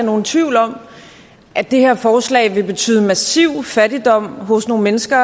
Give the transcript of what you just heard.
nogen tvivl om at det her forslag vil betyde massiv fattigdom hos nogle mennesker